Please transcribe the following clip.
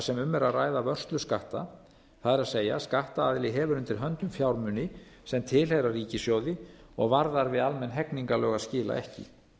sem um er að ræða vörsluskatta það er skattaðili hefur undir höndum fjármuni sem tilheyra ríkissjóði og varðar við almenn hegningarlög að skila ekki